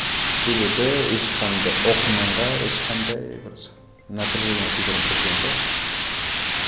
себебі оқырманға ешқандай бір напряжение тудырғым келген жоқ